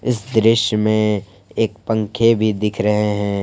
इस दृश्य में एक पंखे भी दिख रहे हैं।